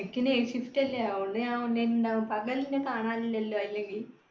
എനിക്ക് night shift അല്ലേ. അതുകൊണ്ട് ഞാൻ online ല്‍ ഉണ്ടാവും, പകൽ എന്നെ കാണാനില്ലല്ലോ അല്ലെങ്കിൽ.